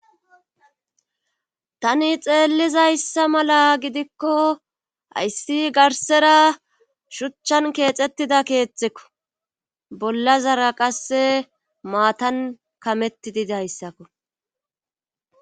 tani xeellizayssa mala gidikko hayssi garsera shuchchan keexettida keexxekko bolla zara qasse maatan kamettidi dayssakko